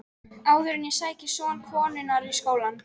Áður en ég sæki son konunnar í skólann.